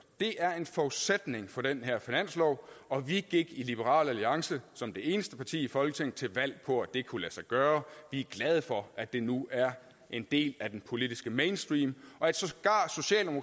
det er en forudsætning for den her finanslov og vi gik i liberal alliance som det eneste parti i folketinget til valg på at det kunne lade sig gøre vi er glade for at det nu er en del af den politiske mainstream